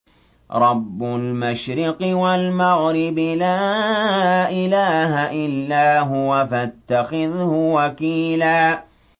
رَّبُّ الْمَشْرِقِ وَالْمَغْرِبِ لَا إِلَٰهَ إِلَّا هُوَ فَاتَّخِذْهُ وَكِيلًا